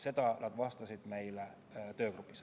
Seda vastati meile töögrupis.